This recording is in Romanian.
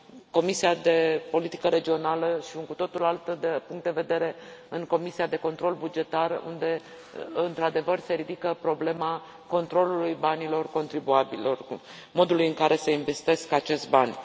Comisia de politică regională și un cu totul alt punct de vedere în Comisia de control bugetar, unde, într adevăr, se ridică problema controlului banilor contribuabililor, modului în care se investesc acești bani.